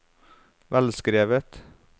velskrevet